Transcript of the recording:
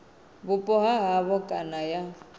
vhupo ha havho kana ya